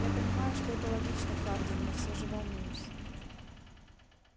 я понимаю что это логично хардин но всё же волнуюсь